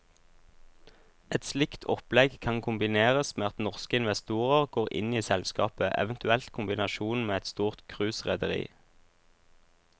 Et slikt opplegg kan kombineres med at norske investorer går inn i selskapet, eventuelt i kombinasjon med et stort cruiserederi.